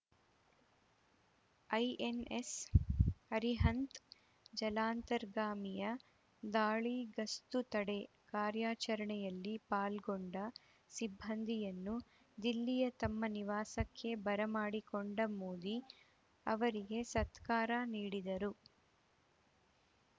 INS Arihant ಜಲಾಂತರ್ಗಾಮಿಯ ದಾಳಿ ಗಸ್ತು ತಡೆ ಕಾರ್ಯಾಚರಣೆಯಲ್ಲಿ ಪಾಲ್ಗೊಂಡ ಸಿಬ್ಬಂದಿಯನ್ನು ದಿಲ್ಲಿಯ ತಮ್ಮ ನಿವಾಸಕ್ಕೆ ಬರಮಾಡಿಕೊಂಡ ಮೋದಿ ಅವರಿಗೆ ಸತ್ಕಾರ ನೀಡಿದರು